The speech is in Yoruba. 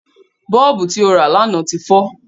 Bọ́ọ̀bù tí ó rà lánàá ti fọ